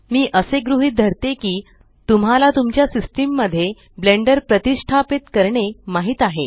मी असे गृहीत धरते की तुम्हाला तुमच्या सिस्टम मध्ये ब्लेंडर प्रतिष्टापीत करणे माहीत आहे